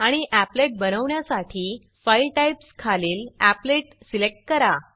आणि applet applet बनवण्यासाठी file types file types खालील एपलेट अपलेट सिलेक्ट करा